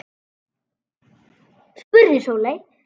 spurði Sóley.